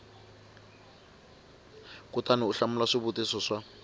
kutani u hlamula swivutiso swa